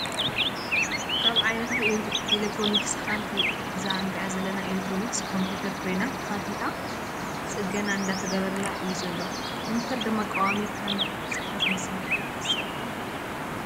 ካብ ዓይነታት ኤሌክትሮኒስ ሓንቲ እዛ እንሪኣ ዘለና ኤሌክትሮንስ ኮምፑተር ኮይና ተከፊታ ፅገና እንዳተገበረላ እዩ ዘሎ። ኮምፑተር ድማ ቀዋሚ ከም ፅሕፈት መሳሪሒ ትሕሰብ።